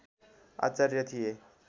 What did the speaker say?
आचार्य थिए